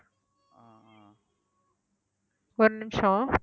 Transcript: ஒரு நிமிஷம்